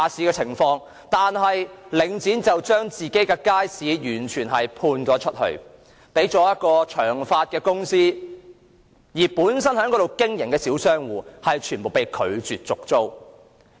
可是，領展將街市完全外判予一間公司，而本身在街市經營的小商戶則全部被拒絕續租。